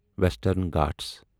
western Ghat